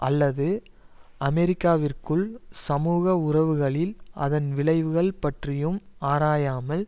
அல்லது அமெரிக்காவிற்குள் சமூக உறவுகளில் அதன் விளைவுகள் பற்றியும் ஆராயாமல்